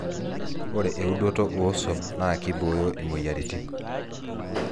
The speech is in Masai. Ore eudoto ooswam na kibooyo imoyiaritin